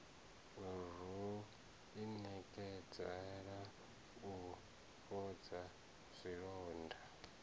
ro inekedzela u fhodza zwilonda